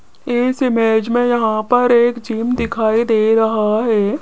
इस इमेज में यहां पर एक जिम दिखाई दे रहा है।